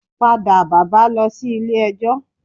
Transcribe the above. Padà bàbá lọ sí ilé ijó